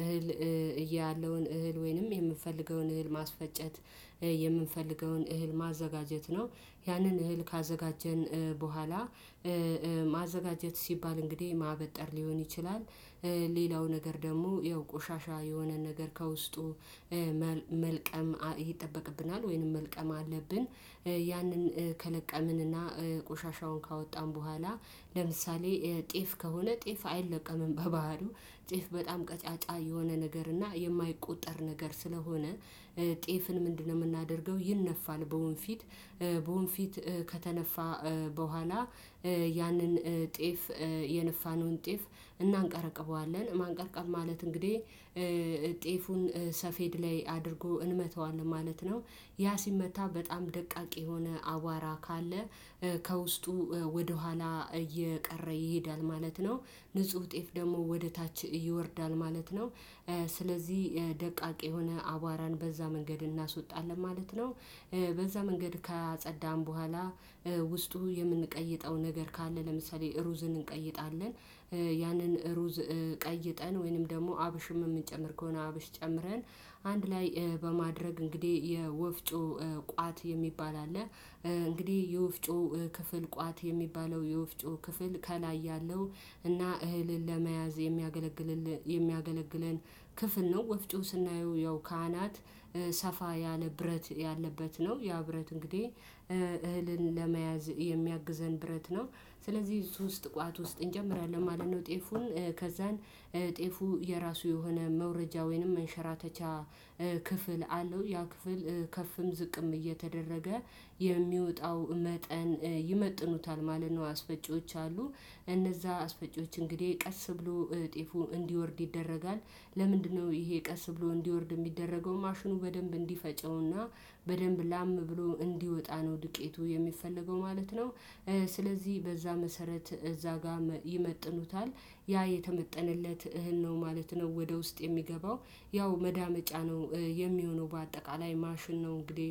እህል እያለውን እህል ወይንም የምንፈልገውን እህል ማስፈጨት የምንፈልገውን እህል ማዘጋጀት ነው። ያንን እህል ካዘጋጀን በኋላ ማዘጋጀት ሲባል እንግዲህ ማበጠር ሊሆን ይችላል። ሌላው ነገር ደግሞ ያው ቆሻሻ የሆነ ነገር ከውስጡ መልቀም ይጠበቅብናል ወይንም መልቀም አለብን። ያንን ከለቀምንና ቆሻሻውን ካወጣን በኋላ ለምሳሌ ጤፍ ከሆነ ጤፍ አይለቀምም በባህርይው ጤፍ በጣም ቀጫጫ የሆነ ነገር እና የማይቆጠር ነገር ስለሆነ። ጤፍን ምንድነው የምናደርገው? ይነፋል በወንፊት በወንፊት ከተነፋ በኋላ። ያንን ጤፍ የነፋነውን ጤፍ እናንቀረቅበዋለን ማንቀልቀል ማለት እንግዲህ ጤፉን ሰፌድ ላይ አድርጎ እንመተዋለን ማለት ነው። ያ ሲመታ በጣም ደቃቂ የሆነ አቧራ ካለ ከውስጡ ወደኋላ እየቀረ ይሄዳል ማለት ነው። ንጹህ ጤፍ ደግሞ ወደ ታች ይወርዳል ማለት ነው። ስለዚህ ደቃቂ የሆነ አቧራን በዛ መንገድ እናስወጣለን ማለት ነው። በዛ መንገድ ካጸዳን በኋላ ውስጡ የምንቀይጠው ነገር ካለ ለምሳሌ ሩዝን እንቀይጣለን። ያንን ሩዝ ቀይጠን ወይንም ደግሞ አብሽም የምንጨምር ከሆነ አብሽ ጨምረን አንድ ላይ በማድረግ እንግዲህ የወፍጮ ቋት የሚባል አለ። እንግዲህ የወፍጮ ክፍል ቋት የሚባለው የወፍጮ ክፍል ከላይ ያለው እና እህልን ለመያዝ የሚያገለግል የሚያገለግለን ክፍል ነው። ወፍጮ ስናየው ያው ካህናት ሰፋ ያለ ብረት ያለበት ነው። ያ ብረት እንግዲህ እህልን ለመያዝ የሚያግዘን ብረት ነው። ስለዚህ እሱ ውስጥ ቋት ውስጥ እንጨምራለን ማለት ነው። ጤፉን ከዛን ጤፉ የራሱ የሆነ መውረጃ ወይንም መንሸራተቻ ክፍል አለው። ያ ክፍል ከፍም ዝቅም እየተደረገ የሚወጣው መጠን ይመጥኑታል ማለት ነው። አስፈጪዎች አሉ። እነዛ አስፈጪዎች እንግዲህ ቀስ ብሎ ጤፉ እንዲወርድ ይደረጋል ለምንድነው ይሄ ቀስ ብሎ እንዲወርድ የሚደረገው ማሽኑ በደንብ እንዲፈጨውና በደንብ ላም ብሎ እንዲወጣ ነው። ድቄቱ የሚፈለገው ማለት ነው። ስለዚህ በዛ መሰረት እዛ ጋር ይመጥኑታል ያ የተመጠነለት እህል ነው ማለት ነው። ወደ ውስጥ የሚገባው ያው መዳመጫ ነው። የሚሆነው በአጠቃላይ ማሽን ነው እንግዲህ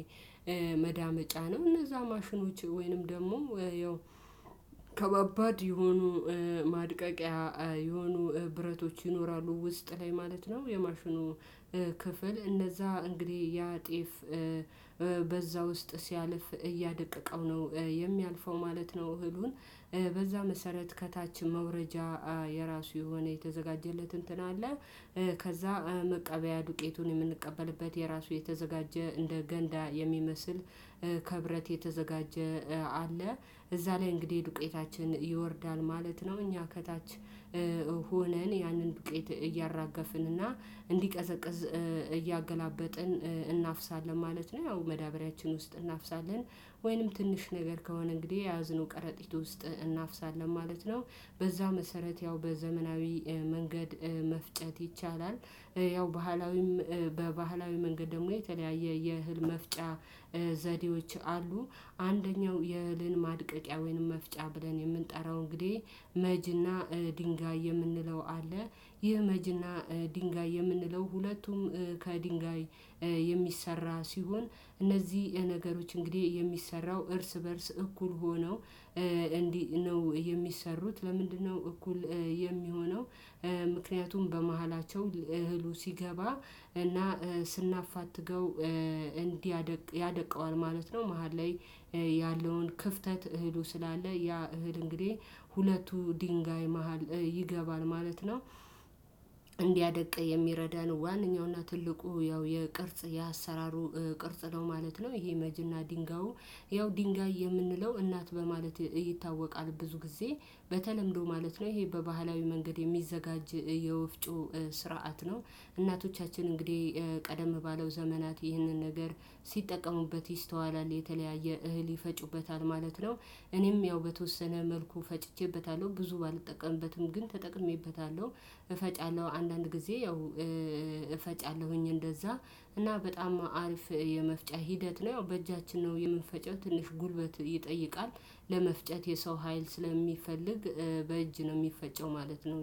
መዳመጫ ነው እነዛ ማሽኖች ወይንም ደግሞ ያው ከባባድ የሆኑ ማድቀቂያ የሆኑ ብረቶች ይኖራሉ። ውስጥ ላይ ማለት ነው። የማሽኑ ክፍል እነዛ እንግዲህ ያ ጤፍ በዛ ውስጥ ሲያልፍ እያደቀቀው ነው። የሚያልፈው ማለት ነው። እህሉን በዛ መሰረት ከታች መውረጃ የራሱ የሆነ የተዘጋጀለት እንትን አለ። ከዛ መቀበያ ዱቄቱን የምንቀበልበት የራሱ የተዘጋጀ እንደ ገንዳ የሚመስል ከብረት የተዘጋጀ አለ። እዛ ላይ እንግዲህ ዱቄታችን ይወርዳል ማለት ነው። እኛ ከታች ሆነን ያንን ዱቄት እያራገፍን እና እንዲቀዘቅዝ እያገላበጥን እናፍሳለን ማለት ነው። ያው መዳበሪያችን ውስጥ እናፍሳለን ወይንም ትንሽ ነገር ከሆነ እንግዲህ የያዝነው ቀረጢት ውስጥ እናፍሳለን ማለት ነው። በዛ መሰረት ያው በዘመናዊ መንገድ መፍጨት ይቻላል። ያው ባህላዊም በባህላዊ መንገድ ደግሞ የተለያየ የእህል መፍጫ ዘዴዎች አሉ። አንደኛው የእህልን ማድቀቂያ ወይንም መፍጫ ብለን የምንጠራው እንግዲህ መጅና ድንጋይ የምንለው አለ። ይህ መጅና ድንጋይ የምንለው ሁለቱም ከድንጋይ የሚሰራ ሲሆን እነዚህ ነገሮች እንግዲህ የሚሰራው እርስ በእርስ እኩል ሆነው እንዲህ ነው የሚሰሩት። ለምንድነው እኩል የሚሆነው? ምክንያቱም በመሀላቸው እህሉ ሲገባ እና ስናፋትገው እንዲያደቅ ያደቀዋል ማለት ነው። መሃል ላይ ያለውን ክፍተት እህሉ ስላለ ያ እህል እንግዲህ ሁለቱ ድንጋይ መሃል ይገባል ማለት ነው። እንዲያደቅ የሚረዳ ነው። ዋንኛውና ትልቁ ያው የቅርጽ የአሰራሩ ቅርጽ ነው ማለት ነው። ይሄ መጅና ድንጋዩ ያው ድንጋይ የምንለው እናት በማለት ይታወቃል። ብዙ ጊዜ በተለምዶ ማለት ነው። ይሄ በባህላዊ መንገድ የሚዘጋጅ የወፍጮ ስርዓት ነው። እናቶቻችን እንግዲህ ቀደም ባለው ዘመናት ይህንን ነገር ሲጠቀሙበት ይስተዋላል የተለያየ እህል ይፈጩበታል ማለት ነው። እኔም ያው በተወሰነ መልኩ ፈጭቼበታለሁ ብዙ ባልጠቀምበትም ግን ተጠቅሜበታለሁ። እፈጫለሁ አንዳንድ ጊዜ ያው እፈጫለሁኝ እንደዛ እና በጣም አሪፍ የመፍጫ ሂደት ነው። ያው በእጃችን ነው የምንፈጨው ትንሽ ጉልበት ይጠይቃል። ለመፍጨት የሰው ሀይል ስለሚፈልግ በእጅ ነው የሚፈጨው ማለት ነው